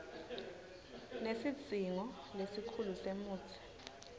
nesidzingo lesikhulu semutsi